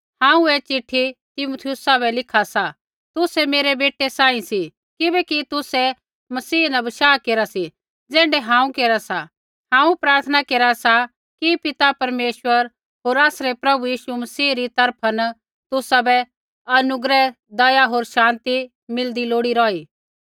हांऊँ ऐ चिट्ठी तीमुथियुसा बै लिखा सा तुसै मेरै बेटै सांही सी किबैकि तुसै मसीह न बशाह केरा सी ज़ैण्ढै हांऊँ केरा सा हांऊँ प्रार्थना केरा सा कि पिता परमेश्वर होर आसरै प्रभु यीशु मसीह री तरफा न तुसाबै अनुग्रह दया होर शान्ति मिलदी लोड़ी रौही